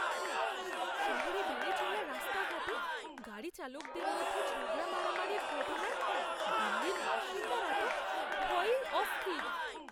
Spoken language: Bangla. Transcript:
শহরে বেড়ে চলা রাস্তাঘাটে গাড়িচালকদের মধ্যে ঝগড়া মারামারির ঘটনায় দিল্লির বাসিন্দারা তো ভয়েই অস্থির।